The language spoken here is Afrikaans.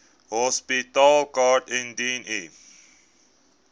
hospitaalkaart indien u